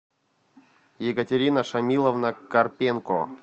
екатерина шамиловна карпенко